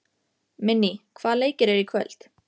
Minný, hvaða leikir eru í kvöld?